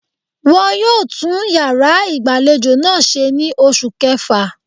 Won yóò tún yàrá ìgbàlejò náà ṣe ní oṣù kẹfà